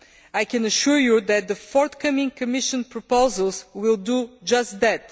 I can assure you that the forthcoming Commission proposals will do just that.